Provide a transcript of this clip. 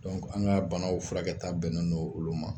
an ka banaw furakɛta bɛnnen don olu ma;